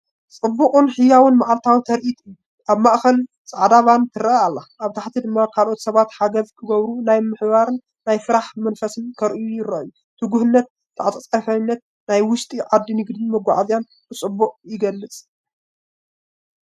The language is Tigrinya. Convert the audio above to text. ጽዑቕን ህያውን መዓልታዊ ትርኢት እዩ! ኣብ ማእከል ጻዕዳ ቫን ትረአ ኣላ፣ ኣብ ታሕቲ ድማ ካልኦት ሰባት ሓገዝ ክገብሩ፡ ናይ ምትሕብባርን ናይ ስራሕ መንፈስን ከርእዩ ይረኣዩ። ትጉህነትን ተዓጻጻፍነትን ናይ ውሽጢ ዓዲ ንግድን መጓዓዝያን ብጽቡቕ ይገልጽ!